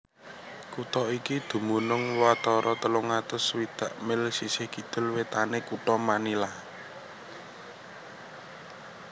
Kutha iki dumunung watara telung atus swidak mil sisih kidul wétané kutha Manila